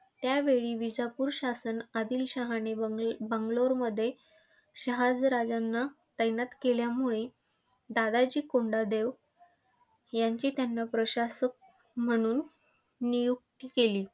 त्यावेळी विजापूर शासन आदिलशहाने बंगलोबंगलोरमध्ये शहाजी राजांना तैनात केल्यामुळे दादाजी कोंडदेव यांची त्यांनी प्रशासक म्हणून नियुक्ती केली.